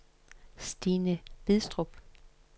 Stine Bidstrup